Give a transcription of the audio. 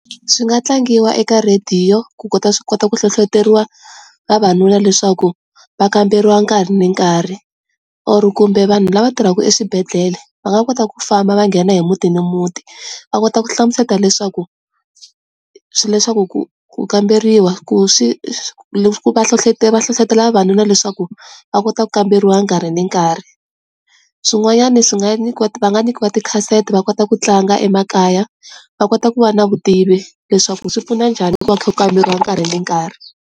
Swi nga tlangiwa eka radiyo ku kota swi kota ku hlohloteriwa ka vavanuna leswaku va kamberiwa kahari ni nkarhi or kumbe vanhu lava tirhaka eswibedhlele va nga kota ku famba va nghena hi muti ni muti va kota ku hlamusela leswaku swi leswaku ku ku kamberiwa ku swi va hlohlotela hlohlotelo vavanuna leswaku va kota ku kamberiwa nkarhi ni nkarhi. Swin'wanyana swi nga nyikiwa va nga nyikiwa tikhasete va kota ku tlanga emakaya va kota ku va na vutivi leswaku swi pfuna njhani loko va kha kamberiwa nkarhi na nkarhi.